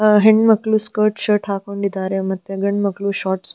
ಆ ಹೆಣ್ಣುಮಕ್ಕ್ಳು skirt shirt ಹಾಕೊಂಡಿದ್ದಾರೆ ಮತ್ತೆ ಗಂಡ್ ಮಕ್ಕ್ಳು ಶೋರ್ಟ್ .